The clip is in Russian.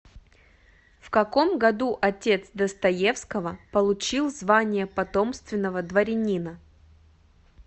в каком году отец достоевского получил звание потомственного дворянина